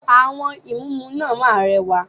Àwọn ìmúǹmúná máa ń rẹwà.